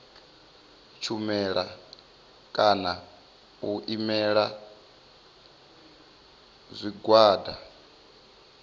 shumela kana u imela zwigwada